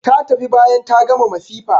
Ta tafi bayan ta gama masifa.